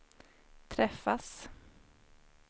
träffas